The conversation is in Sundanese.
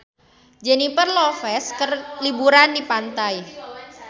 Jennifer Lopez keur liburan di pantai